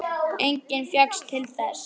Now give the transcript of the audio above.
Enginn fékkst til þess.